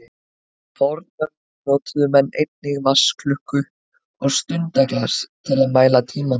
Í fornöld notuðu menn einnig vatnsklukku og stundaglas til að mæla tímann.